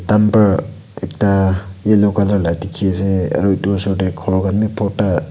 ekta yellow colour la tiki ase aro osor dae kor kan bi borta.